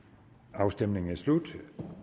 afstemningen er slut